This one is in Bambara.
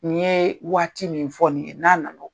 N yee waati min fɔ nin ye n'a nan'o